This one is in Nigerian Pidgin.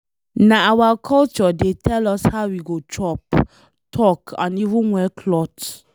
Nah our culture dey tell us how we go chop, talk and even wear cloth.